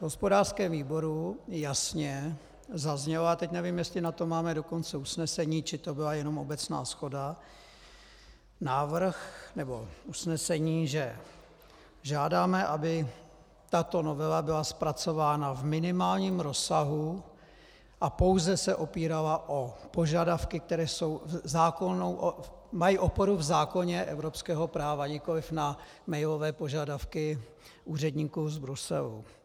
V hospodářském výboru jasně zazněl, a teď nevím, jestli na to máme dokonce usnesení, či to byla jenom obecná shoda, návrh, nebo usnesení, že žádáme, aby tato novela byla zpracována v minimálním rozsahu a pouze se opírala o požadavky, které mají oporu v zákoně evropského práva, nikoli na mailové požadavky úředníků z Bruselu.